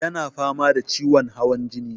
Ya na fama da ciwon hawan jini.